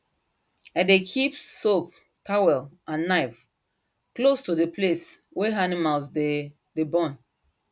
i dey keep soap towel and knife close to the place wey animal dey dey born